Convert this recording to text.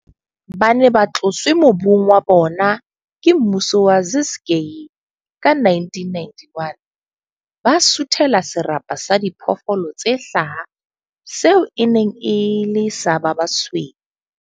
Ba ne ba tloswe mobung wa bona ke mmuso wa Ciskei ka 1991, ba suthela serapa sa diphoofolo tse hlaha seo e neng e le sa ba basweu.